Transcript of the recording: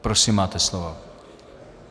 Prosím, máte slovo.